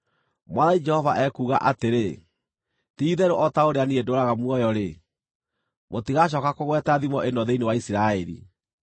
“Mwathani Jehova ekuuga atĩrĩ: Ti-itherũ o ta ũrĩa niĩ ndũũraga muoyo-rĩ, mũtigacooka kũgweta thimo ĩno thĩinĩ wa Isiraeli.